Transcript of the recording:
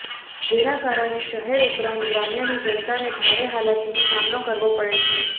જેના કારણે શહેર ઉપરાંત ગ્રામ્યની જનતાને ભારે હાલાકીનો સામનો કરવો પડે છે